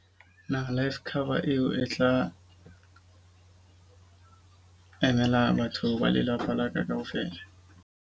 Naha life cover eo e tla emela batho ba lelapa la ka kaofela.